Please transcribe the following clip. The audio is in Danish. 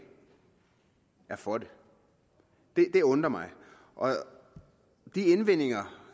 er for det det undrer mig de indvendinger